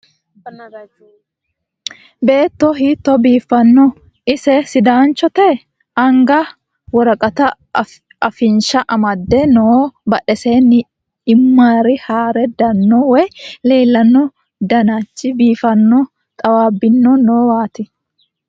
Beetto hiito biifino! Ise sidanichotte? Anigga woriqqete afannisha amadde noo badhesenino imira hare daano wayi leelanno danichu biifano xawabbino noowatti